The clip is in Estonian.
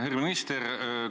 Härra minister!